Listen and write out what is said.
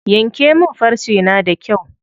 Yanke min farce na da kyau.